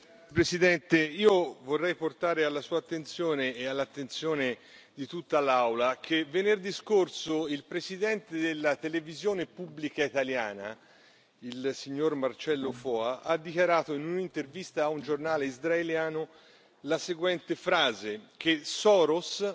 Signor Presidente, onorevoli colleghi, vorrei portare alla Sua attenzione e all'attenzione di tutta l'Aula il fatto che venerdì scorso il presidente della televisione pubblica italiana, il signor Marcello Foa, ha dichiarato in un'intervista a un giornale israeliano la seguente frase, che Soros